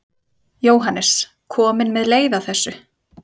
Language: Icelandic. Jóhannes: Komin með leið á þessu?